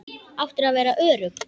Áttirðu að vera örugg?